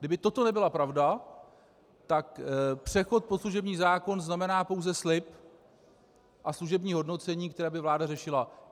Kdyby toto nebyla pravda, tak přechod pod služební zákon znamená pouze slib a služební hodnocení, které by vláda řešila.